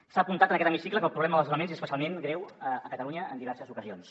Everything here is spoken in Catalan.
s’ha apuntat en aquest hemicicle que el problema dels desnonaments és especialment greu a catalunya en diverses ocasions